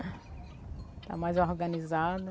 Está mais organizada.